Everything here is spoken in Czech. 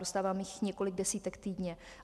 Dostávám jich několik desítek týdně.